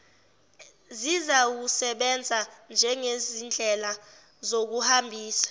zizawusebenza njengezindlela zokuhambisa